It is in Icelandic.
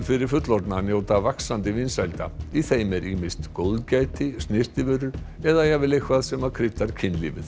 fyrir fullorðna njóta vaxandi vinsælda í þeim er ýmist góðgæti snyrtivörur eða jafnvel eitthvað sem kryddar kynlífið